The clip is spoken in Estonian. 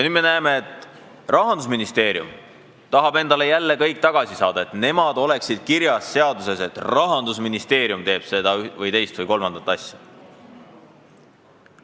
Nüüd me näeme, et Rahandusministeerium tahab jälle kõik endale tagasi saada, et nemad oleksid kirjas seaduses ja Rahandusministeerium teeks seda, teist või kolmandat asja.